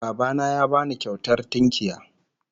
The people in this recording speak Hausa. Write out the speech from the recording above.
Baba na ya ba ni kyautar tunkiya